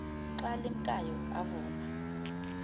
xa limkayo avuma